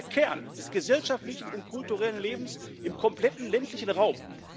Sie sind der Kern des gesellschaftlichen und kulturellen Lebens im kompletten ländlichen Raum.